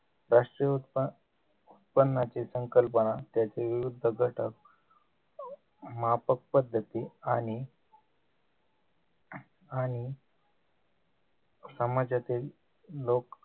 राष्ट्रीय उत्प उत्पन्नाची संकल्पना त्याचे विविध घटक मापक पद्धती आणि आणि समाजातील लोक